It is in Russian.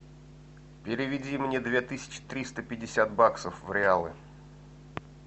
переведи мне две тысячи триста пятьдесят баксов в реалы